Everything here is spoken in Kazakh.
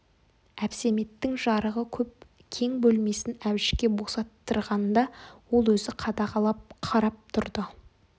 әбсәметтің жарығы көп кең бөлмесін әбішке босаттырғанда ол өзі қадағалап қарап тұрды